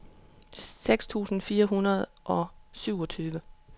seksten tusind fire hundrede og syvogtyve